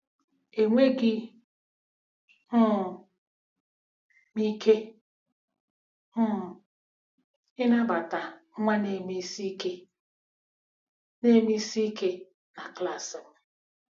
Enweghị um m ike um ịnabata nwa neme isi ike neme isi ike na klaasị m! ”